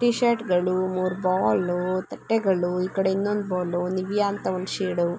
T ಷರ್ಟ್ಗಳು . ಮೂರು ball . ತಟ್ಟೆಗಳು ಈಕಡೆ ಇನ್ನೊಂದ್ ಬಾಲ್ ನಿವ್ಯ ಅಂತ ಒಂದು ಷೇಡ್ --